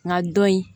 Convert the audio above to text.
Nka don in